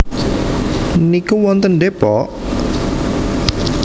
niku wonten Depok?